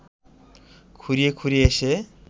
খুঁড়িয়ে খুঁড়িয়ে এসে